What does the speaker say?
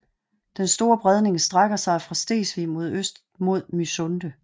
Den Store Bredning strækker sig fra Stegsvig mod øst mod Mysunde